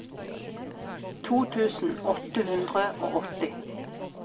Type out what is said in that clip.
to tusen åtte hundre og åtti